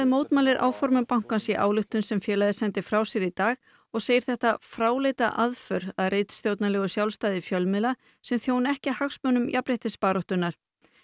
mótmælir áformum bankans í ályktun sem félagið frá sér í dag og segir þetta fráleita aðför að ritstjórnarlegu sjálfstæði fjölmiðla sem þjóni ekki hagsmunum jafnréttisbaráttunnar